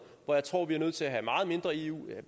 hvor jeg tror vi er nødt til at have meget mindre eu